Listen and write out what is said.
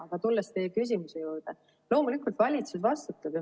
Aga tulles teie küsimuse juurde, loomulikult valitsus vastutab.